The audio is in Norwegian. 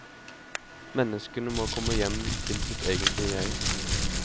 Menneskene må komme hjem til sitt egentlige jeg.